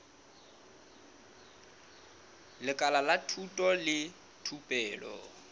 lekala la thuto le thupelo